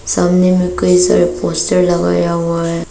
सामने कई सारे पोस्टर लगाया हुआ है।